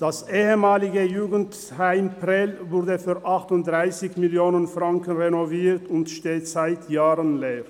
Das ehemalige Jugendheim Prêles wurde für 38 Mio. Franken renoviert und steht seit Jahren leer.